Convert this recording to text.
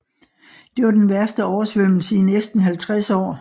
Det var den værste oversvømmelse i næsten 50 år